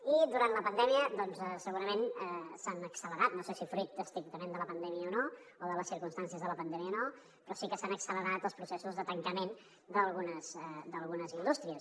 i durant la pandèmia doncs segurament s’han accelerat no sé si fruit estrictament de la pandèmia o no o de les circumstàncies de la pandèmia o no però sí que s’han accelerat els processos de tancament d’algunes indústries